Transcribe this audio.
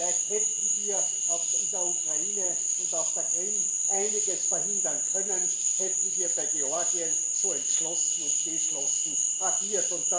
Vielleicht hätten wir in der Ukraine und auf der Krim einiges verhindern können, hätten wir bei Georgien so entschlossen und geschlossen agiert.